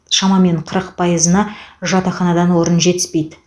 шамамен қырық пайызына жатақханадан орын жетіспейді